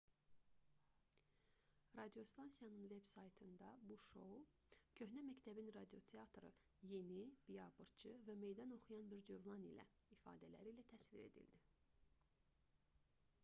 radiostansiyanın veb-saytında bu şou köhnə məktəbin radioteatrı yeni biabırçı və meydan oxuyan bir cövlan ilə ifadələri ilə təsvir edildi